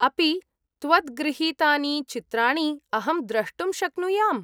अपि त्वद्गृहीतानि चित्राणि अहं द्रष्टुं शक्नुयाम्?